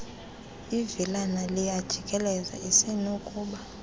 ivilana liyajikeleza usenokuba